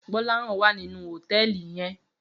Gbolahan wá ninú hótèlí yèn